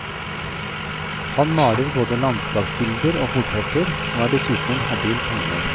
Han maler både landskapsbilder og portretter, og er dessuten en habil tegner.